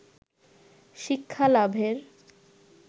শিক্ষা লাভের